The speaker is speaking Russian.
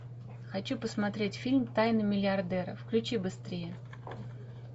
хочу посмотреть фильм тайны миллиардера включи быстрее